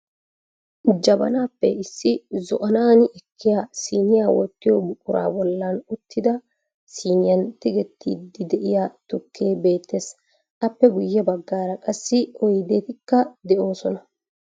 Jabanaappe issi zo"anaani ekkiyaa siniya wottiyo buquraa bollan uttida siniyan tigettiiddi diyaa tukkee beettees. Appe guyye baggaara qassi oydetikka de'oosona.